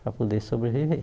Para poder sobreviver.